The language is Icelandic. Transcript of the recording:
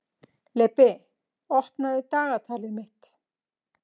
Leibbi, opnaðu dagatalið mitt.